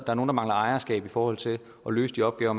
der mangler ejerskab i forhold til at løse de opgaver